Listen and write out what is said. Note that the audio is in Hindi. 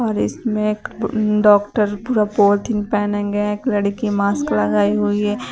और इसमें एक डॉक्टर पूरा पॉलिथीन पहनेंगे एक लड़की मास्क लगाई हुई है।